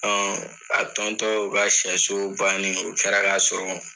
Ɔn a o ka sɛso bannen o kɛra ka sɔrɔ